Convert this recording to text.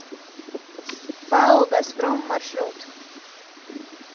пао газпром маршрут